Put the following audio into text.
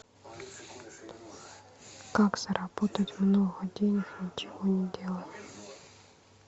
как заработать много денег ничего не делая